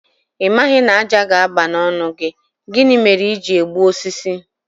Ị maghị na ájá ga-aba n'ọnụ gị, gịnị mere i ji egbu osisi?